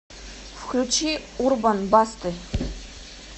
включи урбан басты